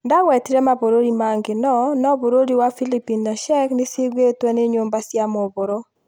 Ndagwetire mabũrũri mangĩ no ,no bũrũri wa Philipines na Czech nĩciũgitwe nĩ nyũmba cia mohoro